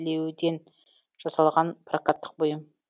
білеуден жасалған прокаттық бұйым